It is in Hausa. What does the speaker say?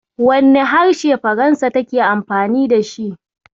Wane harshe Faransa take amfani da shi?